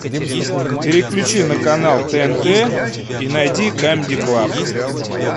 переключи на канал тнт и найди камеди клаб